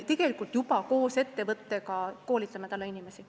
Tegelikult me juba koos ettevõttega koolitame inimesi.